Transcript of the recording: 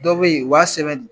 Dɔw bɛ ye u b'a sɛbɛn